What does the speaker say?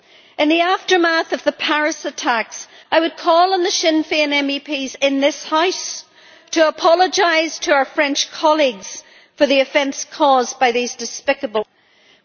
In the aftermath of the Paris attacks, I would call on the Sinn Féin MEPs in this House to apologise to our French colleagues for the offence caused by these despicable comments.